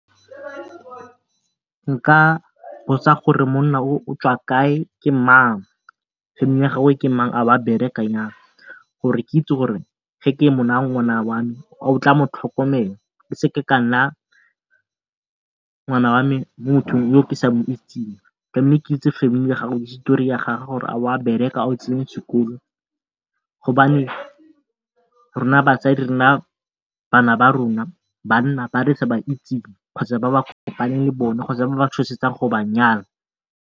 Nka botsa gore monna o o tswa kae, ke mang, ke mang, a ba a bereka yang gore ke itse gore ge ke mo naya ngwana wa me a o tla mo tlhokomela. Ke seke ka naya ngwana wa me mo motho yo ke sa moitseng ke itse family ya gagwe histori ya gage gore a wa bereka, a o tsene sekolo rona batsadi re naya bana ba rona banna ba re sa ba itseng kgotsa ba ba le bona kgotsa ba ba tshosetsang go ba nyala.